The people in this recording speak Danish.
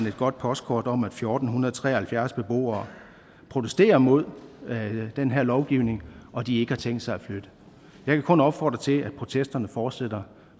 et godt postkort om at fjorten tre og halvfjerds beboere protesterer mod den her lovgivning og at de ikke har tænkt sig at flytte jeg kan kun opfordre til at protesterne fortsætter